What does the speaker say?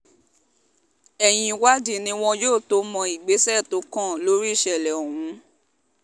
ẹ̀yìn ìwádìí ni wọn yóò tóó mọ ìgbésẹ̀ tó kàn lórí ìṣẹ̀lẹ̀ ọ̀hún